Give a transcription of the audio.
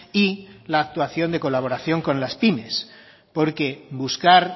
y la actuación de colaboración con las pymes porque buscar